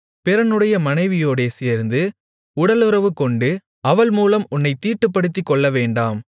பிறனுடைய மனைவியோடே சேர்ந்து உடலுறவுகொண்டு அவள்மூலம் உன்னைத் தீட்டுப்படுத்திக் கொள்ளவேண்டாம்